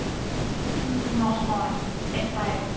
উম নহয় এটাই